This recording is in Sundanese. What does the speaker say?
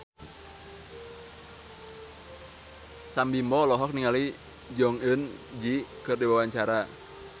Sam Bimbo olohok ningali Jong Eun Ji keur diwawancara